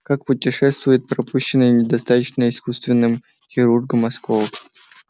как путешествует пропущенный недостаточно искусственным хирургом осколок